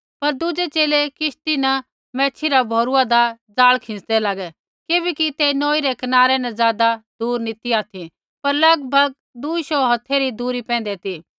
पर दुज़ै च़ेले किश्ती न मैच्छ़ी रा भौरुआन्दा जाल खिन्चदै लागै किबैकि ते नौई रै कनारै न ज़ादा दुर नी ती ऑथि पर लगभग दुई शौऊ हौथै री दुरी पैंधै ती